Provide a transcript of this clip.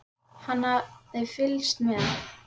Hann hafði fylgst með